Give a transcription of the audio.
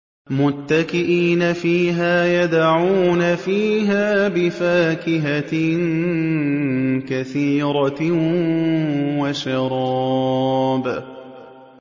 مُتَّكِئِينَ فِيهَا يَدْعُونَ فِيهَا بِفَاكِهَةٍ كَثِيرَةٍ وَشَرَابٍ